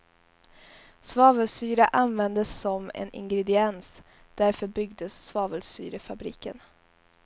Svavelsyra användes som en ingrediens, därför byggdes svavelsyrefabriken.